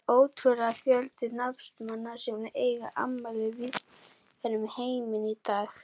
Það er ótrúlegur fjöldi knattspyrnumanna sem eiga afmæli víðsvegar um heiminn í dag.